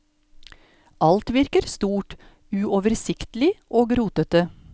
Alt virker stort, uoversiktlig og rotete.